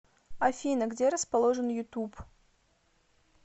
афина где расположен ютуб